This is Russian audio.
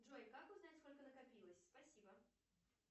джой как узнать сколько накопилось спасибо